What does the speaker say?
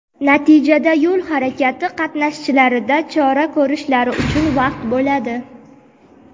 natijada yo‘l harakati qatnashchilarida chora ko‘rishlari uchun vaqt bo‘ladi.